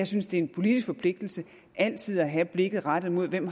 synes det er en politisk forpligtelse altid at have blikket rettet mod hvem